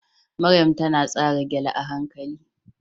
Maryam ta tsara gele a hankali